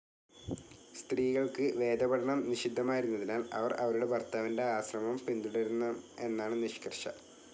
സ്ത്രീകൾക്ക് വേദപഠനം നിഷിദ്ധമായിരുന്നതിനാൽ അവർ അവരുടെ ഭർത്താവിന്റെ ആശ്രമം പിന്തുടരണം എന്നാണ് നിഷ്കർഷ‌.